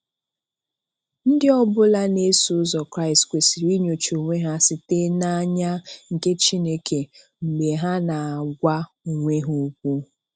Ndị ọ bụla na eso ụzọ Kraịst kwesịrị inyocha onwe ha site na anya nke Chineke mgbe ha na-agwa onwe ha okwu.